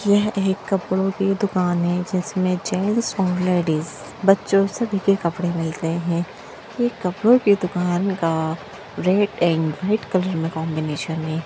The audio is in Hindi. यह एक कपड़ो की दुकान है जिसमें जेंट्स और लेडीज बच्चों सभी के कपड़े मिलते हैं ये कपड़ों की दुकान का रैड एंड व्हाइट कलर में कॉम्बिनेशन है।